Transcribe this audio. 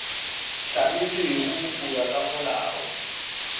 hlamilwego go ya ka molao